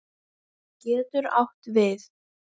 getur átt við